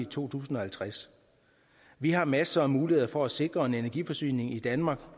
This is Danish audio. to tusind og halvtreds vi har masser af muligheder for at sikre at energiforsyningen i danmark